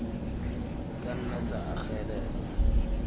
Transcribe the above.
di ka nna tsa agelelwa